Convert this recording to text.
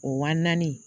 O wa naani